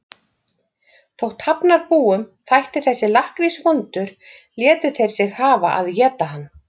Þótt Hafnarbúum þætti þessi lakkrís vondur létu þeir sig hafa að éta hann.